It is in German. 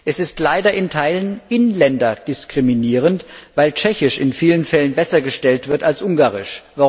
Es ist leider in Teilen inländerdiskriminierend, weil Tschechisch in vielen Fällen besser gestellt wird als Ungarisch.